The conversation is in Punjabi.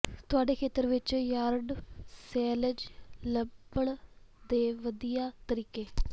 ਤੁਹਾਡੇ ਖੇਤਰ ਵਿਚ ਯਾਰਡ ਸੇਲਜ਼ ਲੱਭਣ ਦੇ ਵਧੀਆ ਤਰੀਕੇ